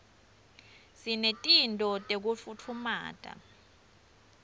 sinetinto tekufutfumata